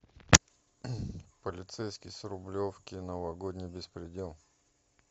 полицейский с рублевки новогодний беспредел